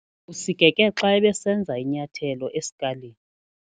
Usikeke xa ebesenza inyathelo esikalini.